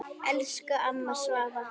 Elsku amma Svava.